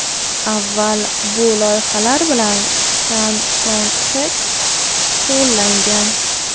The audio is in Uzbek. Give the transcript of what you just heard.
Avval bu loyihalar bilan Chan Son Txek shug‘ullangan.